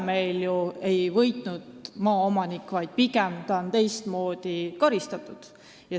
Seega ei ole maaomanik võitnud, pigem on teda teistmoodi karistatud.